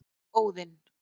Óðinn